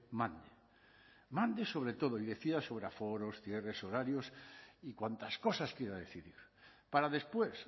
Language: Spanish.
mande mande sobre todo y decida sobre aforos cierres horarios y cuantas cosas quiera decidir para después